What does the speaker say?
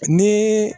Ni